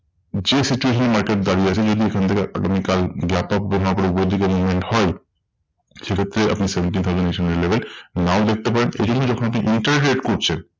যে situation এ market দাঁড়িয়ে আছে যদি এখন থেকে আগামী কাল gap up আবার ওপরের দিকে movement হয়, সেক্ষেত্রে আপনি seventeen thousand eight hundred level নাও দেখতে পারেন। এজন্য যখন এটি interrogate করছে